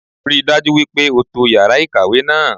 Rí i dájú wípé o to yàrá ìkàwé náà